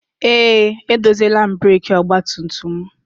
Eé, edoziela m breekị ọgbatumtum m.